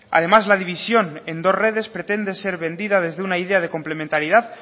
además la división en dos redes pretende ser vendida desde una idea de complementaridad